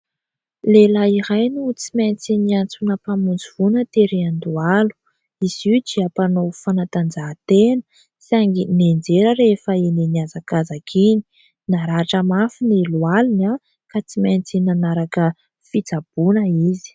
Lehilahy iray no tsy maintsy niantsona mpamonjivoana tery Andohalo, izy io dia mpanao fanantanjahantena saingy nianjera rehefa iny niazakazaka iny naratra mafy ny lohaliny ka tsy maintsy nanaraka fitsaboana izy.